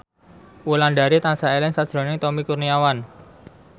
Wulandari tansah eling sakjroning Tommy Kurniawan